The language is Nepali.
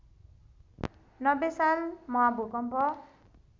९० साल महाभूकम्प